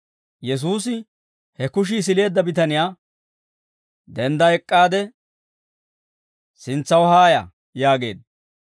Yesuusi he kushii sileedda bitaniyaa, «Dendda ek'k'aade sintsaw haaya» yaageedda.